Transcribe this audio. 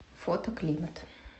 фото климат